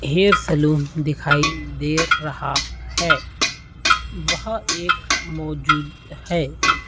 Hair salon दिखाय दे रहा है। वह एक मोजूद है।